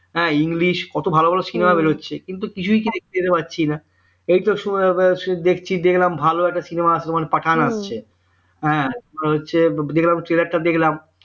হ্যাঁ English কত ভালো ভালো cinema বেরোচ্ছে কিন্তু কিছুই তো দেখতে তো পাচ্ছি না এইতো দেখছি দেখলাম ভালো একটা cinema পাঠান আসছে হ্যাঁ একটা হচ্ছে দেখলাম tailor টা দেখলাম